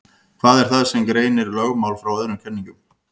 Hvað er það sem greinir lögmál frá öðrum kenningum?